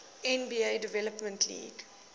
nba development league